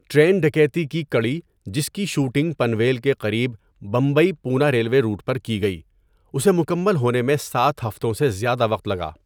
Train ڈکیتی کی کڑی، جس کی شوٹنگ پنویل کے قریب بمبئی پونا ریلوے روٹ پر کی گئی، اسے مکمل ہونے میں سات ہفتوں سے زیادہ وقت لگا.